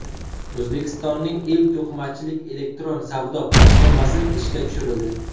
O‘zbekistonning ilk to‘qimachilik elektron savdo platformasi ishga tushirildi.